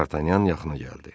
Dartanyan yaxına gəldi.